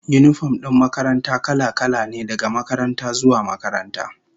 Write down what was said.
Yinifom din makaranta kala-kala ne, daga makaranta zuwa makaranta